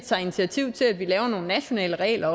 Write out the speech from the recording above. tager initiativ til at vi laver nogle nationale regler